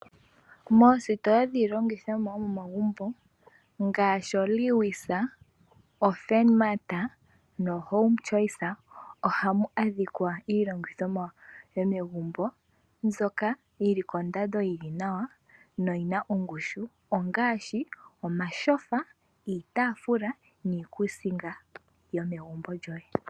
Moositola dhiilongithomwa yo momagumbo ngaashi oLewis, oFurnmart noHome Choice ohamu adhikwa iilongithomwa yomegumbo mbyoka yi li kondando yili nawa, no yina ongushu. Ongaashi omashofa, iitafula niikusinga yomegumbo lyoye.